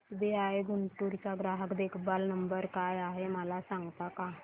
SBI Guntur चा ग्राहक देखभाल नंबर काय आहे मला सांगता का